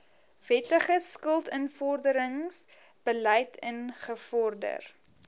wettige skuldinvorderingsbeleid ingevorder